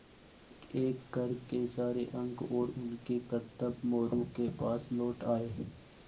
एकएक कर के सारे अंक और उनके करतब मोरू के पास लौट आये